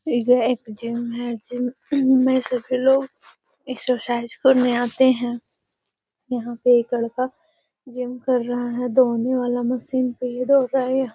एगो एक जिम है जिम में सभी लोग एक्ससरसाइज करने आते हैं | यहाँ पे एक लड़का जिम कर रहा है दौड़ने वाला मशीन पे ये दौड़ रहा है येI